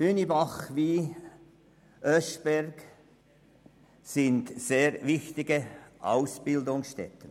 Hünibach wie auch Oeschberg sind sehr wichtige Ausbildungsstätten.